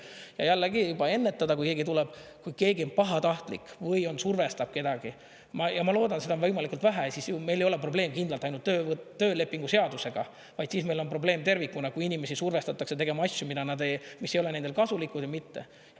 Ja jällegi, juba ennetada, kui keegi tuleb, kui keegi on pahatahtlik või survestab kedagi – ma loodan, et seda on võimalikult vähe –, siis meil ei ole probleem kindlalt ainult töölepingu seadusega, vaid siis meil on probleem tervikuna, kui inimesi survestatakse tegema asju, mis ei ole neile kasulikud või mitte.